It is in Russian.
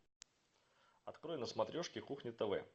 открой на смотрешке кухня тв